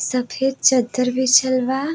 सफ़ेद चद्दर बिछल बा।